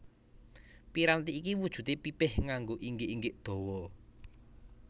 Piranti iki wujudé pipih nganggo inggik inggik dawa